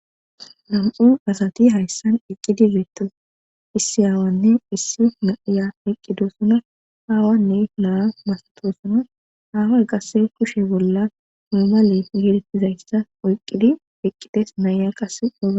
nam7u asati hayssan iqqidi zoetto issi aawanne issi na7iya iqqido suna haawanne la7a masatoosuna haaway qasse kushe bolla moomale geedettizayssa oyqqidi iqqides naaya qase oaga